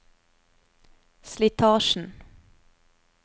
slitasjen